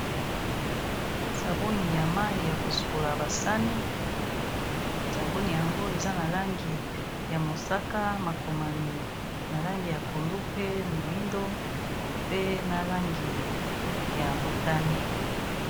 Sabuni ya mayi ya kosukola basani sabuni yango eza na langi ya mosaka makomami na langi ya pondu pe moyindo pe na langi ya motane.